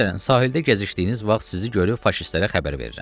Məsələn, sahildə gəzişdiyiniz vaxt sizi görüb faşistlərə xəbər verirəm.